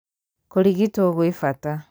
Kũrigitwo gwĩ bata